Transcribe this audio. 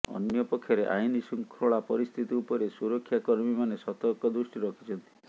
ଅନପକ୍ଷରେ ଆଇନଶୃଙ୍ଖଳା ପରିସ୍ଥିତି ଉପରେ ସୁରକ୍ଷା କର୍ମୀମାନେ ସତର୍କ ଦୃଷ୍ଟି ରଖିଛନ୍ତି